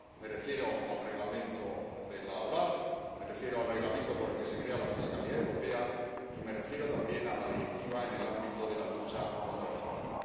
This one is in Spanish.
Me refiero al Reglamento de la OLAF, me refiero al Reglamento por el que se crea la Fiscalía Europea y me refiero también a la Directiva en el ámbito de la lucha contra el fraude.